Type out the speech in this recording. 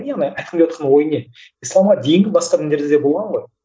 яғни айтқым келіватқан ой не исламға дейінгі басқа діндер да болған ғой